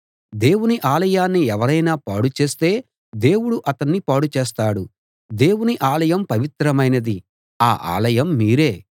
దేవుని ఆలయాన్ని ఎవరైనా పాడు చేస్తే దేవుడు అతణ్ణి పాడు చేస్తాడు దేవుని ఆలయం పవిత్రమైనది ఆ ఆలయం మీరే